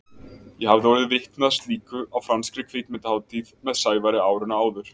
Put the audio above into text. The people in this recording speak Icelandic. Ég hafði orðið vitni að slíku á franskri kvikmyndahátíð með Sævari árinu áður.